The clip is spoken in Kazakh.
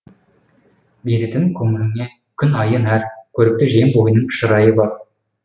беретін көңіліңе күн айы нәр көрікті жем бойының шырайы бар